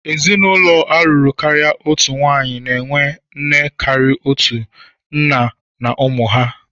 Ezinụlọ a lụrụ karịa otu nwaanyị na-enwe nne karịa otu, nna na ụmụ ha.